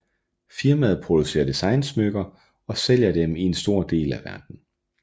Firmaet producerer designsmykker og sælger dem i en stor del af verden